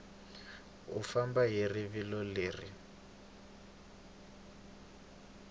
u famba hi rivilo leri